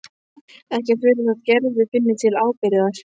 Ekki að furða þótt Gerður finni til ábyrgðar.